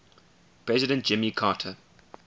president jimmy carter